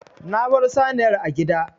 Na baro saniyar a gida.